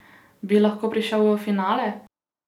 Bi lahko prišel v finale?